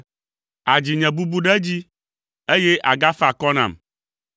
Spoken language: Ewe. Àdzi nye bubu ɖe edzi, eye àgafa akɔ nam.